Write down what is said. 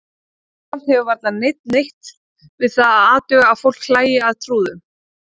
Jafnframt hefur varla neinn neitt við það að athuga að fólk hlæi að trúðum.